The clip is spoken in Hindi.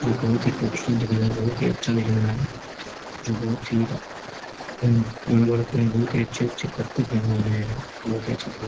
जो की बहुत ही खूबसूरत दिखा रहा है बहुत ही अच्छा दिख रहा है जो बहुत ही बड़ा-बड़ा पेड़ बहुत ही अच्छे-अच्छे पत्ते फैले हुए हैं जो की बहुत ही अच्छा दिख --